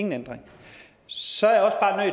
ingen ændring så er jeg